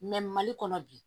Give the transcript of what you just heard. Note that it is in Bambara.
mali kɔnɔ bi